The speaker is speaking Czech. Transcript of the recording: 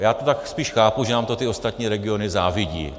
Já to tak spíš chápu, že nám to ty ostatní regiony závidí.